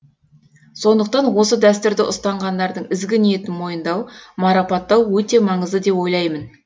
сондықтан осы дәстүрді ұстанғандардың ізгі ниетін мойындау марапаттау өте маңызды деп ойлаймын